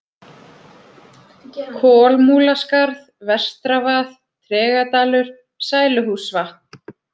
Kolmúlaskarð, Vestravað, Tregadalur, Sæluhússvatn